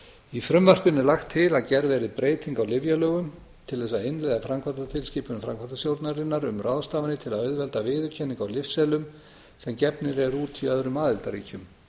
í frumvarpinu er lagt til að gerð verði breyting á lyfjalögum til þess að innleiða framkvæmdartilskipun framkvæmdastjórnarinnar um ráðstafanir til að auðvelda viðurkenningu á lyfseðlum sem gefnir eru út í öðrum aðildarríkjum